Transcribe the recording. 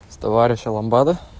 с товарища ламбада